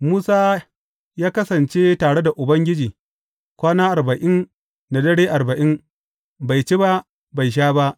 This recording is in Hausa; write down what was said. Musa ya kasance tare da Ubangiji kwana arba’in da dare arba’in, bai ci ba, bai sha ba.